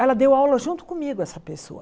Ela deu aula junto comigo, essa pessoa.